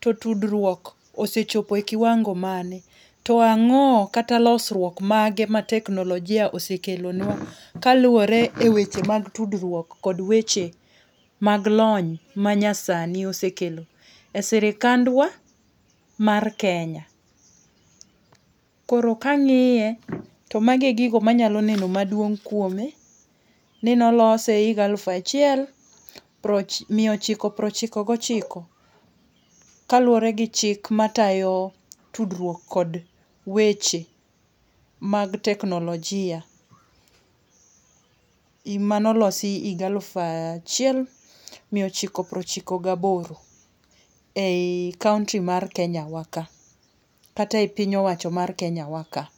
to tudruok osechopo e kiwango mane, to ang'o kata losruok mage ma teknolojia osekelonua kaluwore e weche mag tudruok kod weche mag lony manyasani osekelo e sirkandwa mar Kenya. Koro kang'iye to mago e gigo manyalo neno maduong' kuome ni ne olose e higa alufu achiel miya ochiko piero ochiko gochiko kaluwore gi chik matayo tudruok kod weche mag teknolojia im mano losi iga alufu achiel miya ochiko piero ochiko gaboro ei kaonti mar Kenya wa ka kata ei piny owacho mar Kenya wa ka.